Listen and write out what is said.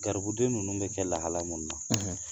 Garibudenw ninnu mi kɛ lahala mun na